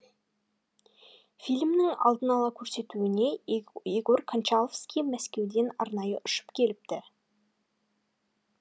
фильмнің алдын ала көрсетуіне егор кончаловский мәскеуден арнайы ұшып келіпті